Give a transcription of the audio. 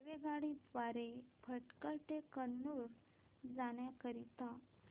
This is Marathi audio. रेल्वे द्वारे भटकळ ते कन्नूर जाण्या करीता